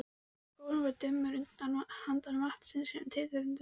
Skógurinn var dimmur handan vatnsins, sem titraði undir tunglskininu.